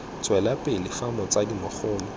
tswela pele fa motsadi mogolo